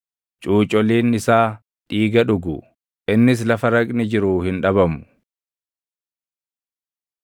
Cuucoliin isaa dhiiga dhugu; innis lafa raqni jiruu hin dhabamu.”